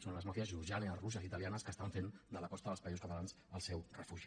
són les màfies georgianes russes i italianes que fan de la costa dels països catalans el seu refugi